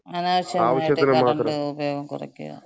അനാവശ്യായിട്ട് current ഉപയോഗം കുറയ്ക്കാ.